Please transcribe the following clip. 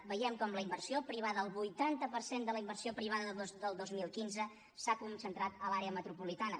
veiem com la inversió privada el vuitanta per cent de la inversió privada del dos mil quinze s’ha concentrat a l’àrea metropolitana